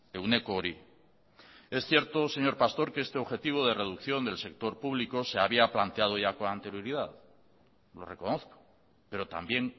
ehuneko hori es cierto señor pastor que este objetivo de reducción del sector público se había planteado ya con anterioridad lo reconozco pero también